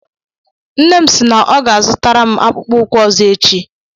Nne m si na ọ ga zụtara m akpụkpọ ụkwụ ọzọ echi.